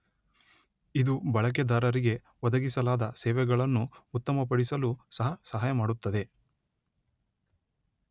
ಇದು ಬಳಕೆದಾರರಿಗೆ ಒದಗಿಸಲಾದ ಸೇವೆಗಳನ್ನು ಉತ್ತಮಪಡಿಸಲೂ ಸಹ ಸಹಾಯಮಾಡುತ್ತದೆ